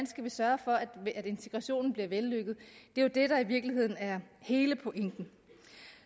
skal sørge for at integrationen bliver vellykket er jo det der i virkeligheden er hele pointen